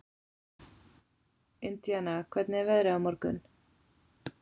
Indiana, hvernig er veðrið á morgun?